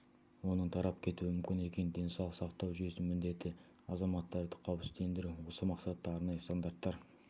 оның тарап кетуі мүмкін екенін денсаулық сақтау жүйесінің міндеті азаматтарды қауіпсіздендіру осы мақсатта арнайы стандарттар